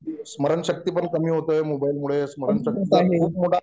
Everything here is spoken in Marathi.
स्मरणशक्ती पण कमी होते मोबाईल मुळे स्मरणशक्ती खूप मोठा